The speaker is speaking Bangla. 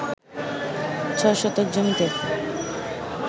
৬ শতক জমিতে